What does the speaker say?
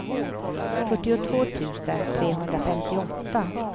fyrtiotvå tusen trehundrafemtioåtta